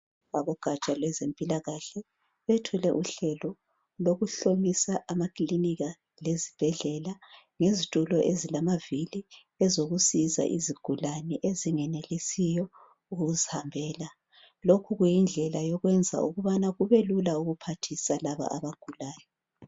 Abogatsha lwezempilakahle bethule uhlelo lokuhlomisa amakilinika lezibhedlela ngezitulo ezilamavili ezokusiza izigulane ezingenelisiyo ukuzihambela. Lokhu kuyindlela yokwenza ukubana kubelula ukuphathisa laba abagulayo.